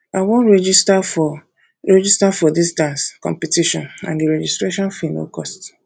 i wan um register for register for dis dance um competition and the registration fee no cost